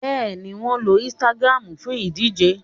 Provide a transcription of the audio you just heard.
Bẹ́ẹ̀ni, wọn lo Instagram fún ìdíje